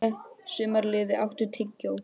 Sumarliði, áttu tyggjó?